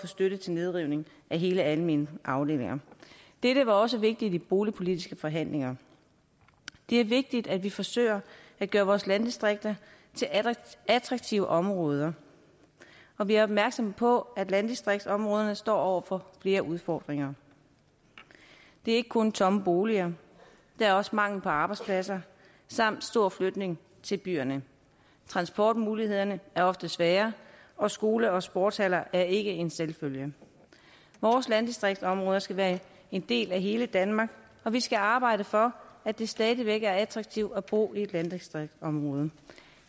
støtte til nedrivning af hele almene afdelinger dette var også vigtigt i de boligpolitiske forhandlinger det er vigtigt at vi forsøger at gøre vores landdistrikter til attraktive områder og vi er opmærksomme på at landdistriktsområderne står over for flere udfordringer det er ikke kun tomme boliger der er også mangel på arbejdspladser samt stor flytning til byerne transportmulighederne er ofte svære og skoler og sportshaller er ikke en selvfølge vores landdistriktsområder skal være en del af hele danmark og vi skal arbejde for at det stadig væk er attraktivt at bo i et landdistriktsområde